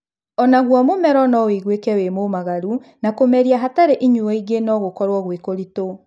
Onaguo mũmero nowĩiguĩke wĩ mũmagaru, na kũmeria hatarĩ inyuo ingĩ no gũkorwo gwĩ kũritũ